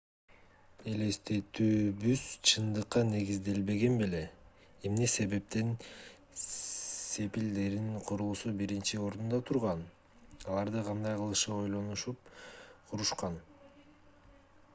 элестетүүбүз чындыкка негизделген беле эмне себептен сепилдердин курулуусу биринчи орунда турган аларды кандай кылып ойлонуп курушкан